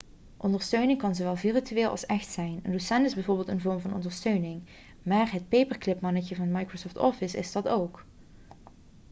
ondersteuning kan zowel virtueel als echt zijn een docent is bijvoorbeeld een vorm van ondersteuning maar het paperclipmannetje van microsoft office is dat ook